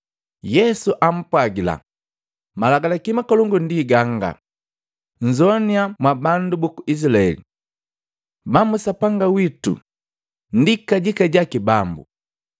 Yesu ampwagila, “Malagi makolongu ndi ganga, ‘Nzoannya mwa bandu buku Izilaeli! Bambu Sapanga witu, ndi kajika jaki Bambu.